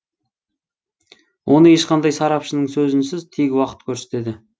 оны ешқандай сарапшының сөзінсіз тек уақыт көрсетеді